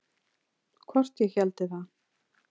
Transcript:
Hvort ég héldi það?